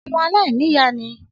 Ọmọ aláìnìyá ni i.